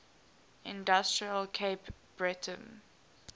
industrial cape breton